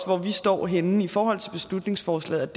hvor vi står henne i forhold til beslutningsforslaget